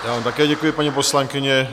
Já vám také děkuji, paní poslankyně.